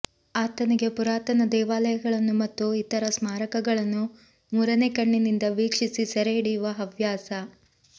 ಆತನಿಗೆ ಪುರಾತನ ದೇವಾಲಯಗಳನ್ನು ಮತ್ತು ಇತರ ಸ್ಮಾರಕಗಳನ್ನು ಮೂರನೇ ಕಣ್ಣಿನಿಂದ ವೀಕ್ಷಿಸಿ ಸರೆಹಿಡಿಯುವ ಹವ್ಯಾಸ